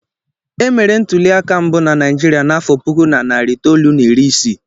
E mere ntuli aka mbụ na Naijiria n'afọ puku na narị itolu na iri isii.